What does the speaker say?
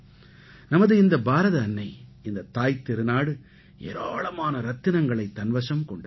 நமது இந்த பாரத அன்னை இந்த தாய்த்திருநாடு ஏராளமான ரத்தினங்களைத் தன்வசம் கொண்டது